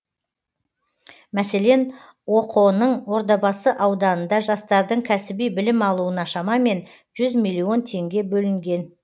мәселен оқо ның ордабасы ауданында жастардың кәсіби білім алуына шамамен жүз миллион теңге бөлінген